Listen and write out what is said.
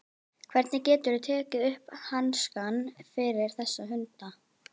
Hvernig geturðu tekið upp hanskann fyrir þessa hunda?